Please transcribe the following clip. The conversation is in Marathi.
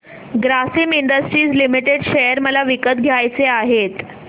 ग्रासिम इंडस्ट्रीज लिमिटेड शेअर मला विकत घ्यायचे आहेत